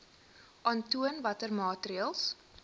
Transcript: aantoon watter maatreëls